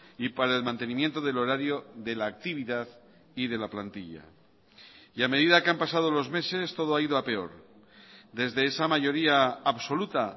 y para el mantenimiento del horario de la actividad y de la plantilla y a medida que han pasado los meses todo ha ido a peor desde esa mayoría absoluta